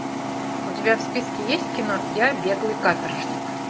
у тебя в списке есть кино я беглый каторжник